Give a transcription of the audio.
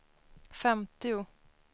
femtio